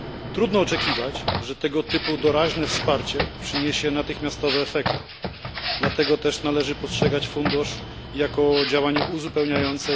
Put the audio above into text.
Trudno oczekiwać, że tego typu doraźne wsparcie przyniesie natychmiastowe efekty, dlatego też należy postrzegać fundusz jako działanie uzupełniające